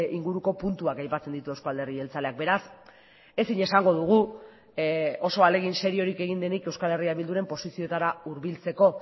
inguruko puntuak aipatzen ditu euzko alderdi jeltzaleak beraz ezin esango dugu oso ahalegin seriorik egin denik euskal herria bilduren posiziotara hurbiltzeko